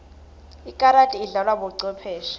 ikarati idlalwa bocwepheshe